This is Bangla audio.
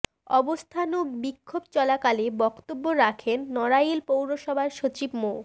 অবস্থান ও বিক্ষোভ চলাকালে বক্তব্য রাখেন নড়াইল পৌরসভার সচিব মো